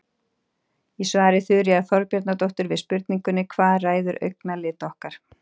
Í svari Þuríðar Þorbjarnardóttur við spurningunni Hvað ræður augnalit okkar?